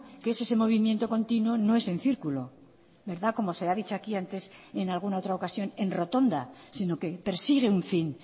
que es ese movimiento continuo no es en círculo verdad como se ha dicho aquí antes en alguna otra ocasión en rotonda sino que persigue un fin